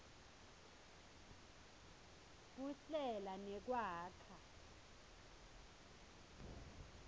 kuhlela nekwakha